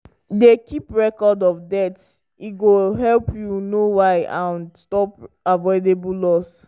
dey keep record of deaths e go help you know why and stop avoidable loss.